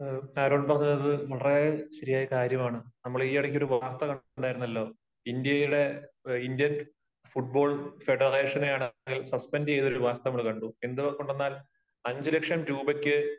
Aaron പറഞ്ഞത് വളരെ ശരിയായ കാര്യമാണ്. നമ്മൾ ഈ ഇടയ്ക്ക് ഒരു വാർത്ത കണ്ടിട്ടുണ്ടായിരുന്നല്ലോ. ഇന്ത്യയുടെ ഇന്ത്യൻ ഫുട്ബോൾ ഫെഡറേഷനെ സസ്പെൻഡ് ചെയ്ത ഒരു വാർത്ത നമ്മൾ കണ്ടു. എന്തു കൊണ്ടെന്നാൽ അഞ്ചു ലക്ഷം രൂപയ്ക്ക്